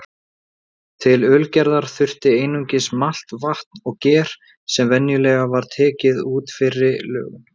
Til ölgerðar þurfti einungis malt, vatn og ger sem venjulega var tekið úr fyrri lögun.